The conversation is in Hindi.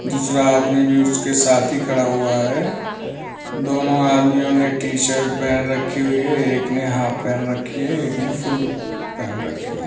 दूसरा आदमी भी उसके साथ ही खड़ा हुआ है दोनों आदमियों ने टी-शर्ट पहन रखी हुई है एक ने हॉफ पहन रखी है एक ने फुल पहन रखी है।